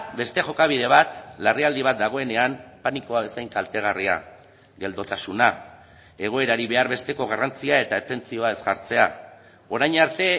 beste jokabide bat larrialdi bat dagoenean panikoa bezain kaltegarria geldotasuna egoerari behar besteko garrantzia eta atentzioa ez jartzea orain arte